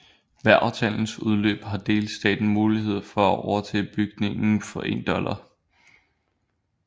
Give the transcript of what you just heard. Ved aftalens udløb har delstaten mulighed for at overtage bygningen for 1 dollar